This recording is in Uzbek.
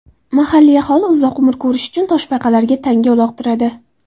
Mahalliy aholi uzoq umr ko‘rish uchun toshbaqalarga tanga uloqtiradi.